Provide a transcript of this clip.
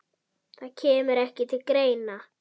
Það kemur ekki til greina.